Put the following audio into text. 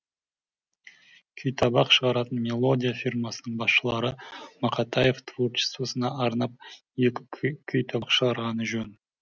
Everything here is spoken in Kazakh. күйтабақ шығаратын мелодия фирмасының басшылары мақатаев творчествосына арнап екі күйтабақ шығарғаны жөн